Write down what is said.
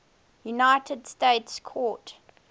united states court